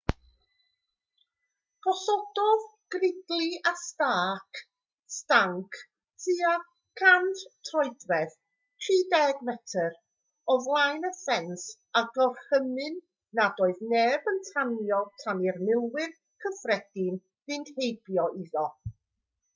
gosododd gridley a stark stanc tua 100 troedfedd 30 metr o flaen y ffens a gorchymyn nad oedd neb yn tanio tan i'r milwyr cyffredin fynd heibio iddo